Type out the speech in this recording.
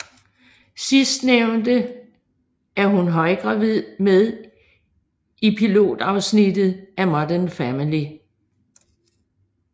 Sidstnævnte er hun højgravid med i pilotafsnittet af Modern Family